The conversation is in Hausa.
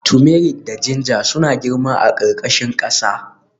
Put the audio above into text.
Turmeric da ginger suna girma a ƙarƙashin ƙasa